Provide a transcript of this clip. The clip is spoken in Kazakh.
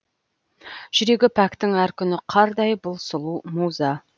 жүрегі пәктің әр күні қардай бұл сұлу муза